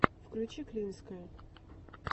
включи клинское